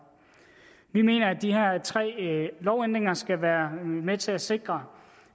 vi mener at de her tre lovændringer skal være med til at sikre